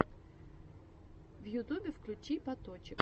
в ютубе включи паточек